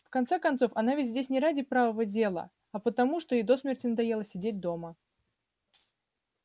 в конце концов она ведь здесь не ради правого дела а потому что ей до смерти надоело сидеть дома